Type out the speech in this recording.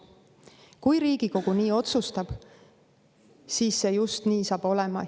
Kui Riigikogu nii otsustab, siis see just nii saab olema.